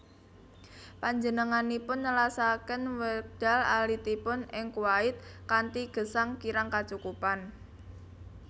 Panjenenganipun nelasaken wekdal alitipun ing Kuwait kanthi gesang kirang kacukupan